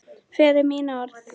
Fyrir mín orð.